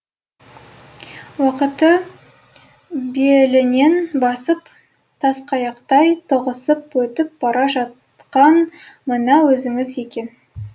уақытты белінен басып тасқаяқтай тоғысып өтіп бара жатқан мына өзіңіз екен